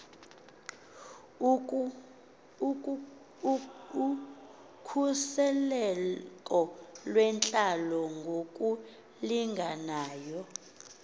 ukhuseleko lwentlalo ngokulinganayo